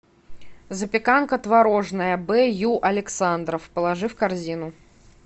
запеканка творожная б ю александров положи в корзину